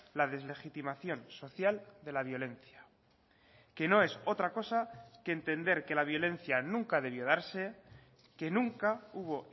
la deslegitimación social de la violencia que no es otra cosa que entender que la violencia nunca debió darse que nunca hubo